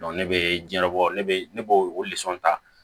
ne bɛ jiɲɛ bɔ ne bɛ ne b'o o ta